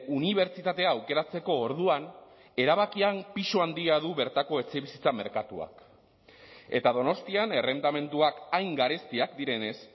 unibertsitatea aukeratzeko orduan erabakian pisu handia du bertako etxebizitza merkatuak eta donostian errentamenduak hain garestiak direnez